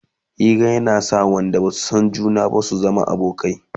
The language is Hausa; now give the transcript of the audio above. Hira na sa wayanda Basu San juna ba su zamo abokanai